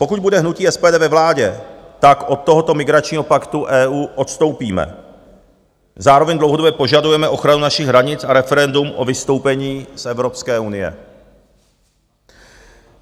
Pokud bude hnutí SPD ve vládě, tak od tohoto migračního paktu EU odstoupíme, zároveň dlouhodobě požadujeme ochranu našich hranic a referendum o vystoupení z Evropské unie.